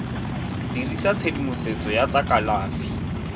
dirisa tshedimosetso ya tsa kalafi